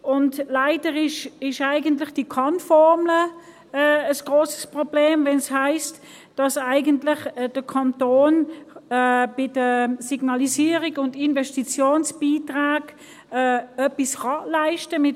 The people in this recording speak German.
Und leider ist die Kann-Formel ein grosses Problem, wenn es heisst, dass der Kanton bei der Signalisierung und den Investitionsbeiträgen etwas leisten kann.